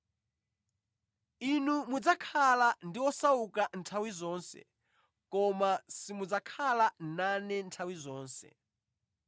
Inu mudzakhala ndi osauka nthawi zonse, koma simudzakhala nane nthawi zonse.”